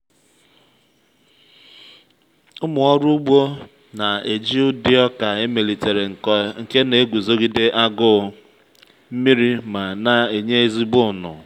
ụmụ ọrụ ugbo na-eji ụdị oka emelitere nke na-eguzogide agụụ nmiri ma na-enye ezigbo ụnụ.